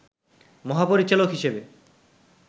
মহাপরিচালক হিসেবে